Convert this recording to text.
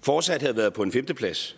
fortsat havde været på en femteplads